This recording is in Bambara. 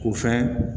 K'u fɛn